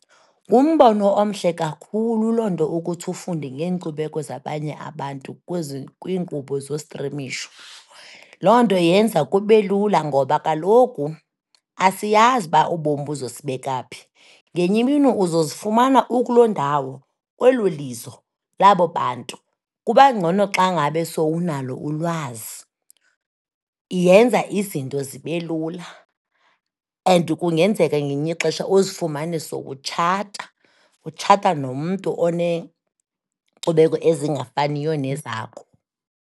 Ngumbono omhle kakhulu loo nto ukuthi ufunde ngeenkcubeko zabanye abantu kwiinkqubo zostrimisho. Loo nto yenza kube lula ngoba kaloku asiyazi uba ubomi buza kusibeka phi, ngenye imini uzozifumana ukuloo ndawo, kwelo lizo labo bantu, kubangcona xa ngabe sowunalo ulwazi. Yenza izinto zibe lula and kungenzeka ngelinye ixesha uzifumane sowutshata, utshata nomntu oneenkcubeko ezingafaniyo nezakho.